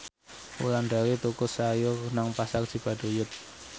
Wulandari tuku sayur nang Pasar Cibaduyut